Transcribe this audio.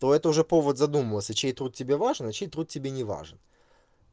то это уже повод задумываться чей труд тебе важен а чей труд тебе не важен